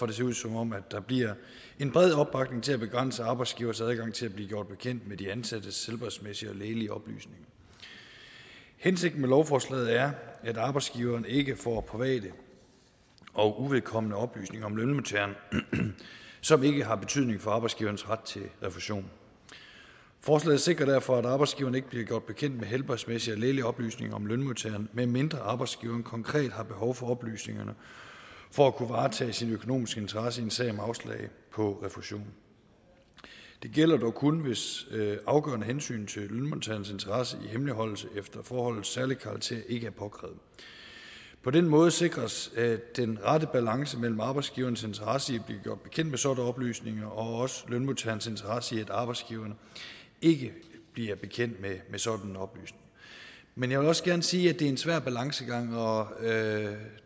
det ser ud som om der bliver en bred opbakning til at begrænse arbejdsgiveres adgang til at blive gjort bekendt med de ansattes helbredsmæssige og lægelige oplysninger hensigten med lovforslaget er at arbejdsgiveren ikke får private og uvedkommende oplysninger om lønmodtageren som ikke har betydning for arbejdsgiverens ret til refusion forslaget sikrer derfor at arbejdsgiveren ikke bliver gjort bekendt med helbredsmæssige og lægelige oplysninger om lønmodtageren medmindre arbejdsgiveren konkret har behov for oplysningerne for at kunne varetage sine økonomiske interesser i en sag om afslag på refusion det gælder dog kun hvis afgørende hensyn til lønmodtagerens interesse i hemmeligholdelse efter forholdets særlige karakter ikke er påkrævet på den måde sikres den rette balance mellem arbejdsgiverens interesse i at blive gjort bekendt med sådanne oplysninger og også lønmodtagerens interesse i at arbejdsgiveren ikke bliver bekendt med sådanne oplysning men jeg vil også gerne sige at det er en svær balancegang og